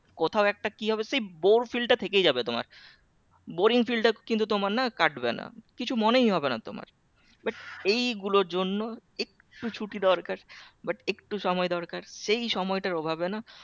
কোথাও একটা কি হবে সেই bor feel টা থেকেই যাবে তোমার boring feel কিন্তু তোমার না কাটবে কিছু মনেই হবে না তোমার but এই গুলোর জন্য একটু ছুটি দরকার but একটু সময় দরকার সেই সময়টার অভাবে না